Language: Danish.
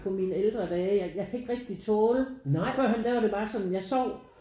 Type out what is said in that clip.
På mine ældre dage jeg jeg kan ikke rigtig tåle førhen der var det bare sådan jeg sov